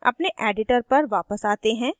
अपने editor पर वापस आते हैं